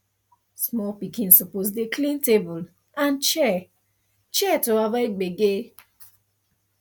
small pikin suppose dey clean table and chair chair to avoid gbege